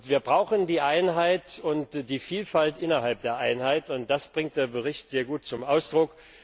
Wir brauchen die Einheit und die Vielfalt innerhalb der Einheit, und das bringt der Bericht sehr gut zum Ausdruck.